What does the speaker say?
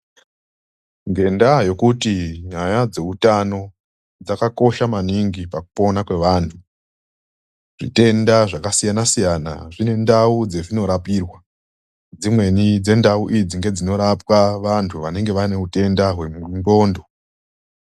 Ngenda yekuti nyaya dzeutano dzakakosha maningi pakupona kwevantu zvitenda zvakasiyana siyana zvine ndau dzezvinorapirwa dzimweni dzendau idzi dzinorapwa vandu vanenge vane utenda hwenqondo.